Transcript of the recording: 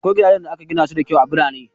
Akwai gidajen da aka gina su da kyau a birane.